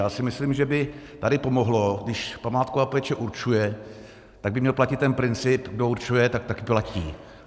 Já si myslím, že by tady pomohlo, když památková péče určuje, tak by měl platit ten princip, kdo určuje, tak také platí.